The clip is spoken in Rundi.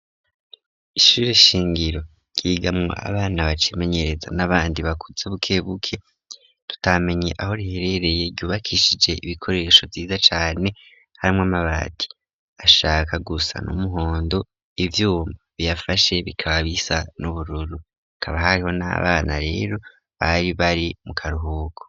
Ishuri shingiro ryigamwa abana bacimenyereza n'abandi bakutse bukebuke tutamenye aho riherereye ryubakishije ibikoresho vyiza cane harimwo mabati ashaka gusa n'umuhondo ibyumba biyafashe bikaba bisa n'ubururu bikaba hariho n'abana rero bari bari mu karuhuko.